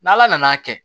N'ala nan'a kɛ